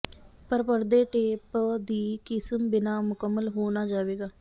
ਪਰ ਪਰਦੇ ਟੇਪ ਦੀ ਕਿਸਮ ਬਿਨਾ ਮੁਕੰਮਲ ਹੋ ਨਾ ਹੋਵੇਗਾ